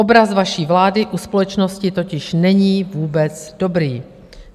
Obraz vaší vlády u společnosti totiž není vůbec dobrý.